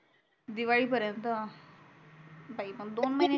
दिवाळी परेन्त बाई मग दोन महिन्याच्या वर